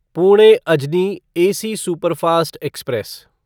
Pune Ajni AC superfast express